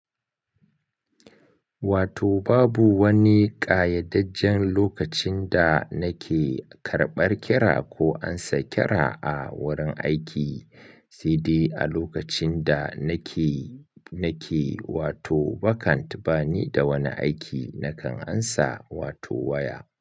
Wato babu wani ƙayyadajjen lokacin da nake karɓar kira ko ansa kira a wurin aiki, sai dai a lokacin da nake, nake wato vacant bani da wani aiki nakan ansa wato waya.